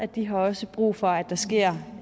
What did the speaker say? de har også brug for at der sker